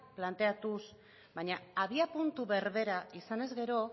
planteatuz baina abiapuntu berbera izan ezkero